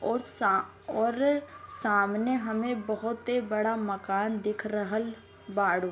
और सा और समाने हमें बहोते बड़ा मकान दिख रहल बाड़ु।